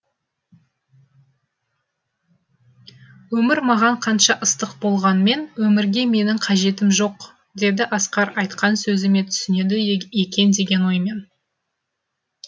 өмір маған қанша ыстық болғанмен өмірге менің қажетім жоқ деді асқар айтқан сөзіме түсінеді екен деген оймен